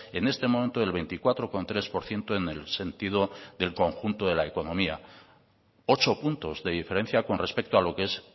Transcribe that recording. en este momento del veinticuatro coma tres por ciento en el sentido del conjunto de la economía ocho puntos de diferencia con respecto a lo que es